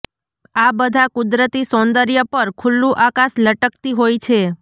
આ બધા કુદરતી સૌંદર્ય ઉપર ખુલ્લું આકાશ લટકતી હોય છે